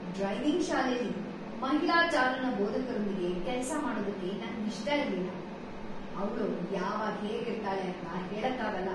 Driving ಶಾಲೆಲಿ ಮಹಿಳಾ ಚಾಲನಾ ಬೋಧಕರೊಂದಿಗೆ ಕೆಲ್ಸ ಮಾಡೋದಕ್ಕೆ ನಂಗ್ ಇಷ್ಟ ಇರ್ಲಿಲ್ಲ. ಅವ್ಳು ಯಾವಾಗ್ ಹೇಗ್ ಇರ್ತಾಳೆ ಅಂತ ಹೇಳಕ್ ಆಗಲ್ಲ.